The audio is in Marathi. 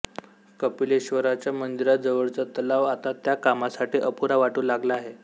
कपिलेश्वराच्या मंदिराजवळचा तलाव आता त्या कामासाठी अपुरा वाटू लागला आहे